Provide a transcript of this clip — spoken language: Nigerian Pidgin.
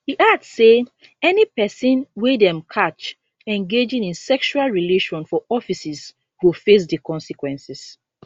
e add say any pesin wey dem catch engaging in sexual relation for offices go face di consequences